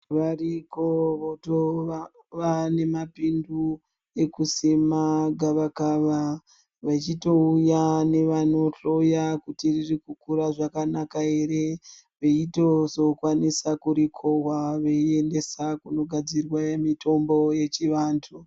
Variko votova nema pindu ekusima gava kava vechi touya nevano hloya kuti riri kukura zvakanaka ere veitozo kwanisa kuri kohwa vei endesa kuno gadzirwa mitombo yechi vantu.